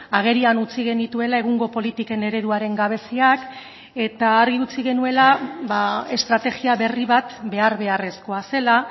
agerian utzi genituela egungo politiken ereduaren gabeziak eta argi utzi genuela estrategia berri bat behar beharrezkoa zela